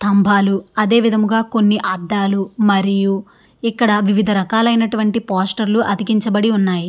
స్తంభాలు అదే విధంగా కొన్ని అద్దాలు మరియు ఇక్కడ వివిధ రకాలైనటువంటి పోస్టర్ లు అతికించబడి ఉన్నాయి.